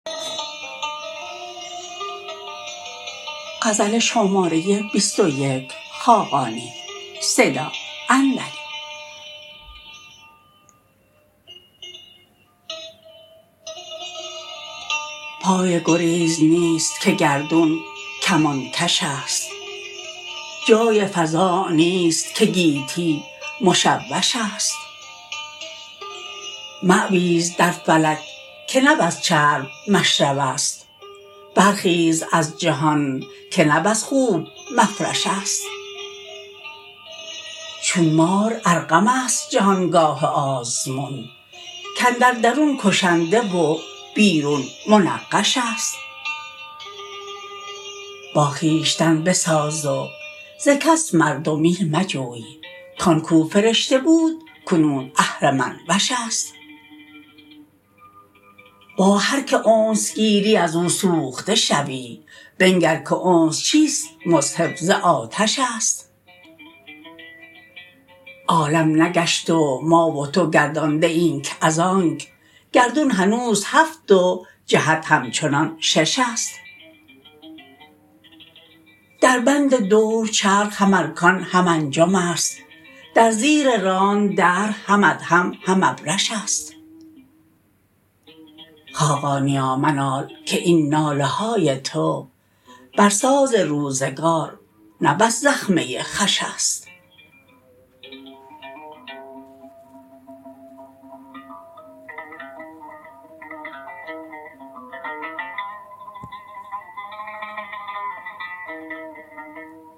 پای گریز نیست که گردون کمان کش است جای فراغ نیست که گیتی مشوش است ماویز در فلک که نه بس چرب مشرب است برخیز از جهان که نه بس خوب مفرش است چون مار ارقم است جهان گاه آزمون کاندر درون کشنده و بیرون منقش است با خویشتن بساز و ز کس مردمی مجوی کان کو فرشته بود کنون اهرمن وش است با هر که انس گیری از او سوخته شوی بنگر که انس چیست مصحف ز آتش است عالم نگشت و ما و تو گردنده ایم از آنک گردون هنوز هفت و جهت همچنان شش است در بند دور چرخ هم ارکان هم انجم است در زیر ران دهر هم ادهم هم ابرش است خاقانیا منال که این ناله های تو برساز روزگار نه بس زخمه خوش است